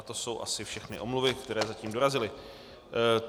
A to jsou asi všechny omluvy, které zatím dorazily.